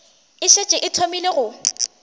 e šetše e thomile go